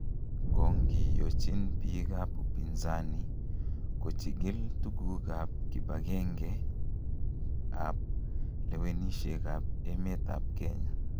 Kongiyochin biik ab upinzani kochigil tuguuk ab kibang'eng'e ab lewenisiet ab emet ab Kenya.